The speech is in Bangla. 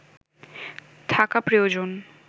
থাকা প্রয়োজন